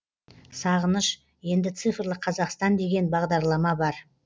сағыныш енді цифрлы қазақстан деген бағдарлама бар